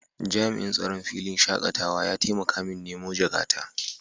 jami'in tsaron filin shakatawa ya taimaka min nemo jakata.